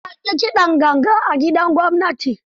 Jiya an yi kidan ganga a gidan gwamnati.